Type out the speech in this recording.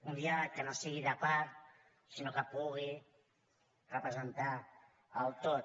un diàleg que no sigui de part sinó que pugui representar el tot